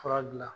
Fura dilan